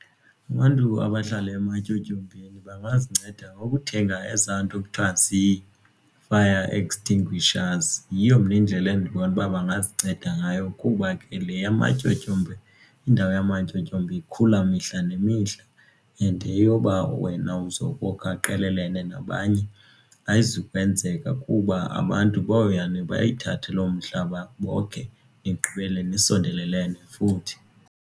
Abantu abahlala ematyotyombeni bangazinceda ngokuthenga ezaa nto kuthiwa zii-fire extinguishers. Yiyo mna indlela endibona uba bangazinceda ngayo kuba ke le yamatyotyombe indawo yamatyotyombe ikhula mihla nemihla and eyoba wena uzokokha qelele nabanye ayizukwenzeka kuba abantu boyane bayithathe lo mhlaba bokhe nigqibele nisondelelene futhi.